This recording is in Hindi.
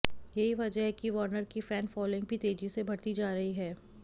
यही वजह है कि वॉर्नर की फैन फॉलोइंग भी तेजी से बढ़ती जा रही है